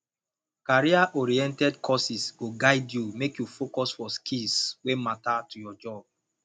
careeroriented courses go guide you make you focus for skills wey matter to your job